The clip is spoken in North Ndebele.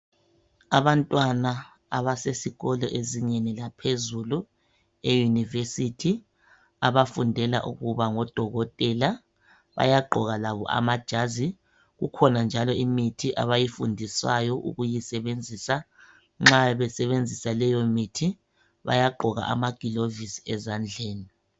Abantwana abasesikolo ezingeni laphezulu eYunivesithi abafundela ukuba ngodokotela bayagqoka labo amajazi kukhona njalo imithi abayifundiswayo ukuyisebenzisa. Nxa besebenzisa leyomithi bayagqoka amagilovisi ezandleni.